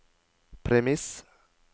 premiss